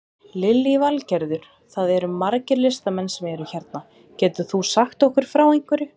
Lillý Valgerður: Það eru margir listamenn sem eru hérna, getur þú sagt okkur frá einhverju?